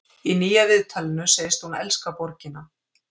Í nýja viðtalinu segist hún elska borgina.